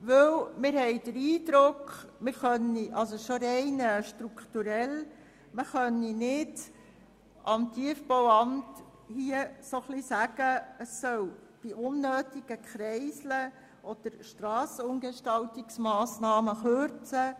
Dies, weil wir den Eindruck haben, dass man dem Tiefbauamt allein aus strukturellen Gründen nicht vorgeben kann, es solle bei unnötigen Kreiseln oder Strassenumgestaltungsmassnahmen kürzen.